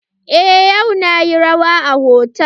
Eh yau nayi rawa a hotal.